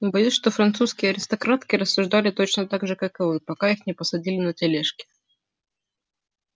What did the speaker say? боюсь что французские аристократки рассуждали точно так же как вы пока их не посадили на тележки